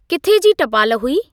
किथे जी टपाल हुई?